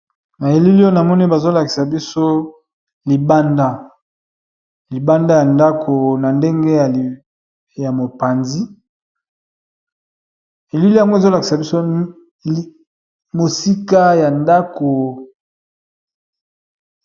Na elili oyo na moni bazo lakisa biso libanda libanda ya ndako. Na ndenge ya mopanzi elili yango ezo lakisa biso mosika ya ndako.